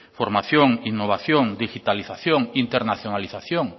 formación innovación digitalización internacionalización